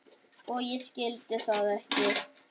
Og ég skildi það ekki.